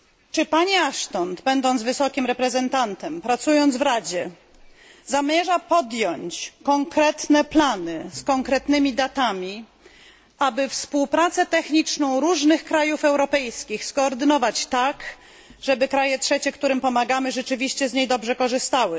Czy pani Ashton, będąc wysokim przedstawicielem, pracując w Radzie, zamierza podjąć konkretne działania z konkretnymi datami, aby współpracę techniczną różnych krajów europejskich skoordynować tak, żeby kraje trzecie, którym pomagamy, rzeczywiście z niej dobrze korzystały?